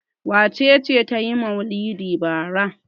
Wace ce ta yi maulidi bara?